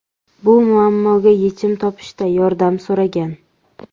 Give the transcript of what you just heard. Bu muammoga yechim topishda yordam so‘ragan.